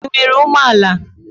Ị nwere ụgbọ ala?